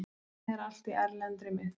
Lánið er allt í erlendri mynt